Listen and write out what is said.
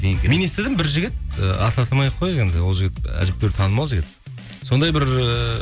мен естідім бір жігіт ііі атын атамай ақ қояйық енді ол жігіт әжептәуір танымал жігіт сондай бір ііі